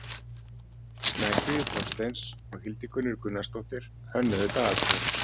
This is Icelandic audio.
Snæfríður Þorsteins og Hildigunnur Gunnarsdóttir hönnuðu dagatalið.